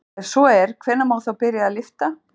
Ef svo er hvenær má þá byrja að lyfta?